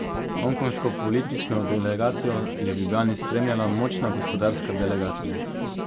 Hongkongško politično delegacijo je v Ljubljani spremljala močna gospodarska delegacija.